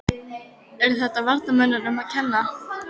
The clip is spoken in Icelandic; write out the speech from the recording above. Er þetta varnarmönnunum að kenna?